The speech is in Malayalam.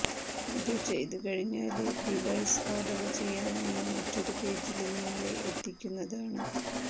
ഇതു ചെയ്തു കഴിഞ്ഞാല് ഡിവൈസ് ഓഡര് ചെയ്യാനായി മറ്റൊരു പേജില് നിങ്ങളെ എത്തിക്കുന്നതാണ്